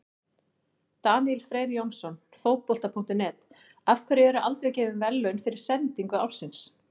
Daníel Freyr Jónsson, Fótbolta.net: Af hverju eru aldrei gefin verðlaun fyrir sendingu ársins?